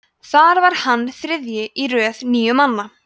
þar var hann þriðji í röð níu manna